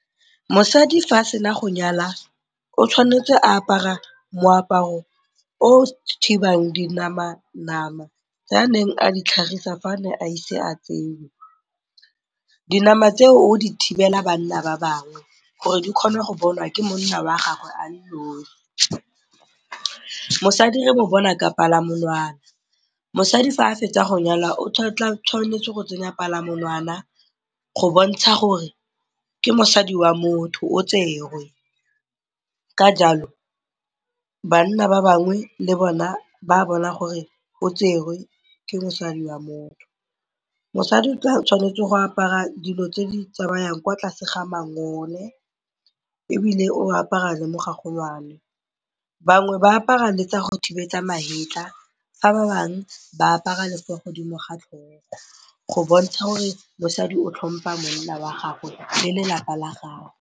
Mosadi fa a sena go nyalwa o tshwanetse a apara moaparo o o thibang dinamanama tse a neng a di tlhagisa fa a ne a ise a tsewe. Dinama tseo o di thibela banna ba bangwe gore di kgonwe go bonwa ke monna wa gagwe a le nosi. Mosadi re mo bona ka palamamonwana. Mosadi fa a fetsa go nyalwa o tshwanetse go tsenya palamamonwana go bontsha gore ke mosadi wa motho, o tserwe, ka jalo banna ba bangwe le bona ba a bona gore o tserwe, ke mosadi wa motho. Mosadi o tshwanetse go apara dilo tse di tsamayang kwa tlase ga mangole ebile o apara le mogagolwane. Bangwe ba apara le tsa go thiba magetla fa ba bangwe ba apara le fo godimo ga tlhogo go bontsha gore mosadi o tlhompa monna wa gagwe le lelapa la gagwe.